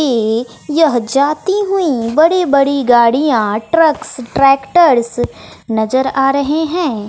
ये यह जाती हुई बड़ी बड़ी गाड़ियां ट्रक्स ट्रैक्टर्स नज़र आ रहे हैं।